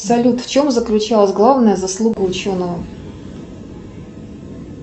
салют в чем заключалась главная заслуга ученого